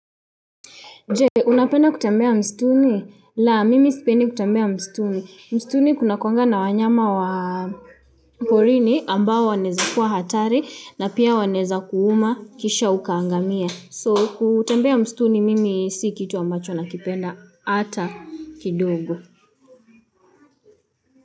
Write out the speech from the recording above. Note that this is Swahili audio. Je, unapenda kutambea mstuni? La, mimi sipendi kutembea mstuni. Mstuni kunakuwanga na wanyama wa porini ambao wanaweza kuwa hatari na pia wanaweza kuuma kisha ukaangamia. So, kutembea mstuni mimi si kitu ambacho nakipenda ata kidogo.